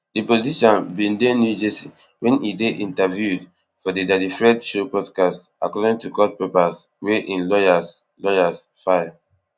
di politician bin dey new jersey wen e dey interviewed for di daddy fred show podcast according to court papers wey im lawyers lawyers file